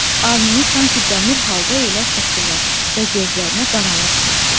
Alnını sanki dəmir halqa ilə sıxdılar və gözlərinə qaranlıq çökdü.